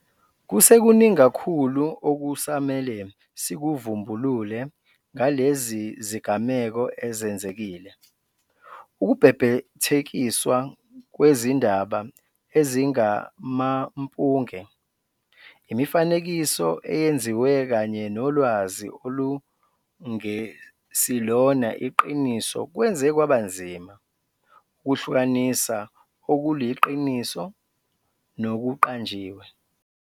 Kusekuningi kakhulu okusamele sikuvumbulule ngalezi zigameko ezenzekile. Ukubhebhethekiswa kwezindaba ezingamampunge, imifanekiso eyenziwe kanye nolwazi olungesilona iqiniso kwenze kwaba nzima ukuhlukanisa okuliqiniso nokuqanjiwe.